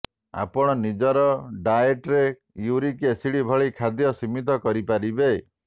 ଆପଣ ନିଜର ଡାଏଟ୍ରେ ୟୁରିକ ଏସିଡ୍ ଭଳି ଖାଦ୍ୟ ସୀମିତ କରିପାରିବେ